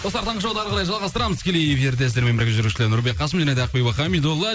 достар таңғы шоуды әріқарай жалғастырамыз тікелей эфирде сіздермен бірге жүргізушілер нұрбек қасым және де ақбибі хамидолла